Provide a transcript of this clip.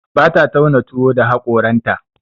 Bata tauna tuwo da haƙoranta.